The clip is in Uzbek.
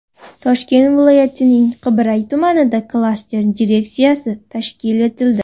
Toshkent viloyatining Qibray tumanida klaster direksiyasi tashkil etildi.